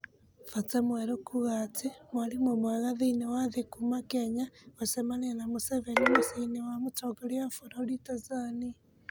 Bota Mwerũkuuga atĩ mwarĩmũmwega thĩiniĩ wa thĩ kuuma Kenya gũcemania na Mũceveni mũciĩ -inĩ wa mũtongoria wa bũrũri Tanzania.